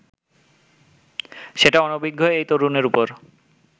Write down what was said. সেটা অনভিজ্ঞ এই তরুণের ওপর